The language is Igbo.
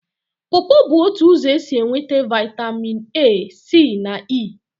Pọpọ bụ otu ụzọ esi enweta Vitamin A, C na E.